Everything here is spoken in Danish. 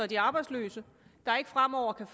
de arbejdsløse der ikke fremover kan